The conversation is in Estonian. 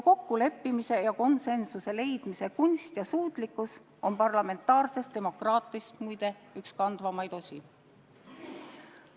Kokkulepete ja konsensuse leidmise kunst ja suutlikkus on parlamentaarses demokraatias, muide, üks kandvamaid osi.